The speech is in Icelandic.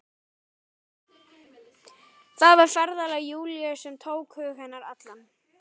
Það var ferðalag Júlíu sem tók hug hennar allan.